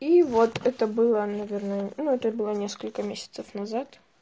и вот это было наверное ну это было несколько месяцев назад